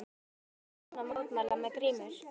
En hvers vegna kjósa menn að mótmæla með grímur?